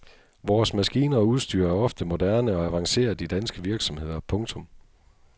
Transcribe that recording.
Vores maskiner og udstyr er ofte moderne og avanceret i danske virksomheder. punktum